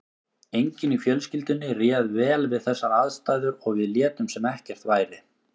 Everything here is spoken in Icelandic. Enginn í fjölskyldunni réð vel við þessar aðstæður og við létum sem ekkert væri.